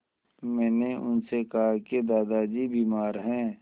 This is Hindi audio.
मैंने उनसे कहा कि दादाजी बीमार हैं